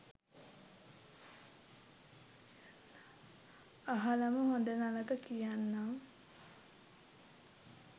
අහලම හොඳ නරක කියන්නං.